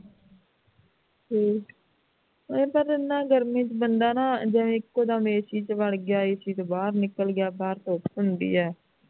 ਹੂ ਇਹ ਤਾਂ ਫੇਰ ਇਹਨਾਂ ਨਾ ਗਰਮੀ ਬਦਾਨਾ ਜਿਵੇਂ ਇਕੋ ਦਮ ac ਵੜ ਗਿਆ ac ਤੋਂ ਬਾਹਰ ਨਿਕਲ਼ ਗਿਆ ਬਾਹਰ ਧੁੱਪ ਹੁੰਦੀ ਹੈ